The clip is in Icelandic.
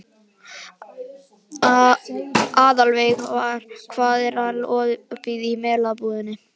Aðalveig, hvað er lengi opið í Melabúðinni?